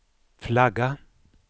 flagga